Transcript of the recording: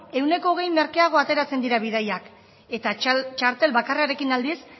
ehuneko hogei merkeago ateratzen diren bidaiak eta txartel bakarrarekin aldiz